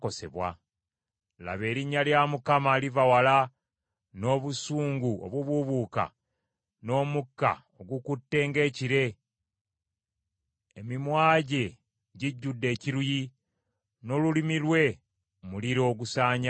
Laba, erinnya lya Mukama liva wala n’obusungu obubuubuuka n’omukka ogukutte ng’ekire; emimwa gye gijjudde ekiruyi, n’olulimi lwe muliro ogusaanyaawo.